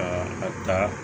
Aa a taa